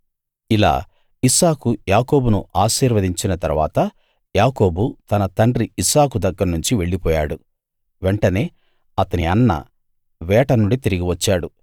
ఇలా ఇస్సాకు యాకోబును ఆశీర్వదించిన తరువాత యాకోబు తన తండ్రి ఇస్సాకు దగ్గర్నుంచి వెళ్ళిపోయాడు వెంటనే అతని అన్న వేట నుండి తిరిగి వచ్చాడు